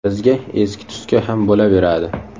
Bizga eski-tuski ham bo‘laveradi.